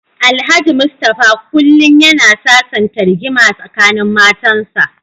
Alhaji Mustapha kullum yana sasanta rigima tsakanin matansa.